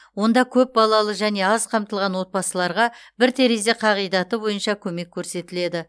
онда көпбалалы және аз қамтылған отбасыларға бір терезе қағидаты бойынша көмек көрсетіледі